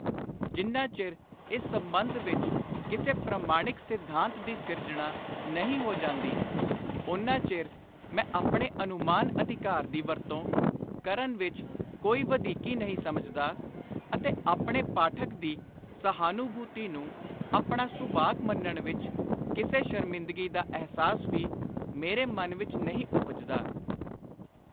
ਜਿੰਨਾ ਚਿਰ ਇਸ ਸੰਬੰਧ ਵਿਚ ਕਿਸੇ ਪ੍ਰਮਾਣਿਕ ਸਿੱਧਾਂਤ ਦੀ ਸਿਰਜਣਾ ਨਹੀਂ ਹੋ ਜਾਂਦੀ, ਓਨਾ ਚਿਰ ਮੈਂ ਆਪਣੇ ਅਨੁਮਾਨ-ਅਧਿਕਾਰ ਦੀ ਵਰਤੋਂ ਕਰਨ ਵਿਚ ਕੋਈ ਵਧੀਕੀ ਨਹੀਂ ਸਮਝਦਾ ਅਤੇ ਆਪਣੇ ਪਾਠਕ ਦੀ ਸਹਾਨਭੁਤੀ ਨੂੰ ਆਪਣਾ ਸੁਭਾਗ ਮੰਨਣ ਵਿਚ ਕਿਸੇ ਸ਼ਰਮਿੰਦਗੀ ਦਾ ਅਹਿਸਾਸ ਵੀ ਮੇਰੇ ਮਨ ਵਿਚ ਨਹੀਂ ਉਪਜਦਾ।